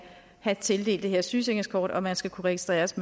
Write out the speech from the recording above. have tildelt det her sygesikringskort og man skal kunne registreres